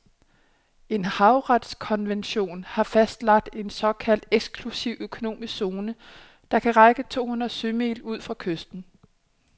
En havretskonvention har fastlagt en såkaldt eksklusiv økonomisk zone, der kan række to hundrede sømil ud fra kysten.